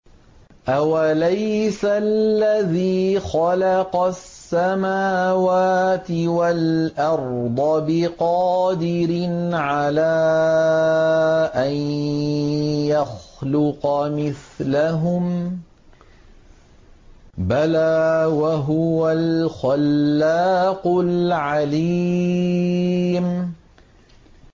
أَوَلَيْسَ الَّذِي خَلَقَ السَّمَاوَاتِ وَالْأَرْضَ بِقَادِرٍ عَلَىٰ أَن يَخْلُقَ مِثْلَهُم ۚ بَلَىٰ وَهُوَ الْخَلَّاقُ الْعَلِيمُ